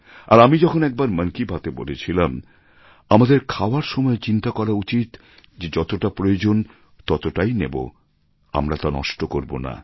আর আমি যখন একবার মন কি বাত এ বলেছিলাম আমাদের খাওয়ার সময়ে চিন্তা করা উচিত যে যতটা প্রয়োজন ততটাই নেব আমরা তা নষ্ট করব না